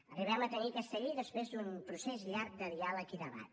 arribem a tenir aquesta llei després d’un procés llarg de diàleg i debat